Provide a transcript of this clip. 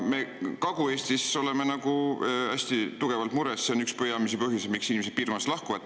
Me Kagu-Eestis oleme selle pärast hästi mures, see on üks peamisi põhjusi, miks inimesed piirkonnast lahkuvad.